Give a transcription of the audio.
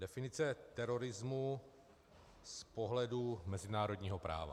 Definice terorismu z pohledu mezinárodního práva.